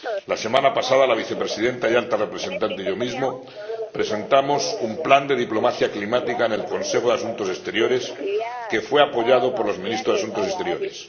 La semana pasada la Vicepresidenta y Alta Representante y yo mismo presentamos un plan de diplomacia climática en el Consejo de Asuntos Exteriores que fue apoyado por los Ministros de Asuntos Exteriores.